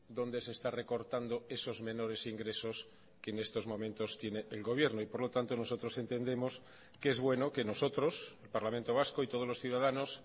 dónde se está recortando esos menores ingresos que en estos momentos tiene el gobierno y por lo tanto nosotros entendemos que es bueno que nosotros el parlamento vasco y todos los ciudadanos